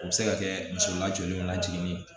O bɛ se ka kɛ muso lajoli na jiginni ye